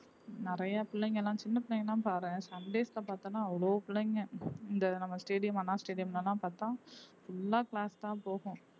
நறைய பிள்ளைங்க எல்லாம் சின்ன பிள்ளைங்க எல்லாம் பாரேன் சண்டேஸ் அ பார்த்தோம்ன்னா அவ்வளவு பிள்ளைங்க இந்த நம்ம stadium அண்ணா stadium ல எல்லாம் பார்த்தா full ஆ class தான் போகும்